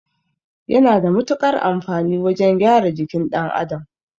Yana da mutukar amfani wajan gyara jikin ɗan Adam